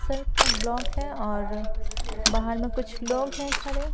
sir का block है और बाहर में कुछ लोग हैं खड़े --